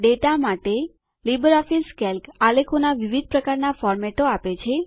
data માટે LibreOffice Calc આલેખોના વિવિધ પ્રકારના ફોર્મેટો આપે છે